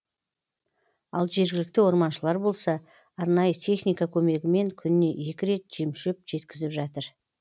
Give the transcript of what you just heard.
ал жергілікті орманшылар болса арнайы техника көмегімен күніне екі рет жем шөп жеткізіп жатыр